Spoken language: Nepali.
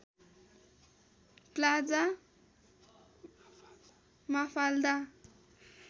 plaza Mafalda